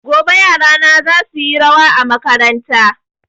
Gobe yarana za su yi rawa a makaranta